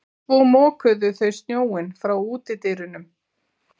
Svo mokuðu þau snjóinn frá útidyrunum.